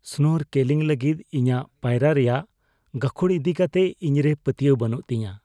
snorkelling ᱞᱟᱹᱜᱤᱫ ᱤᱧᱟᱹᱜ ᱯᱟᱭᱨᱟᱜ ᱨᱮᱭᱟᱜ ᱜᱟᱹᱠᱷᱩᱲ ᱤᱫᱤ ᱠᱟᱛᱮ ᱤᱧᱨᱮ ᱯᱟᱹᱛᱭᱟᱹᱣ ᱵᱟᱹᱱᱩᱜ ᱛᱤᱧᱟᱹ